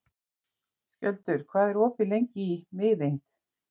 Skjöldur, hvað er opið lengi í Miðeind?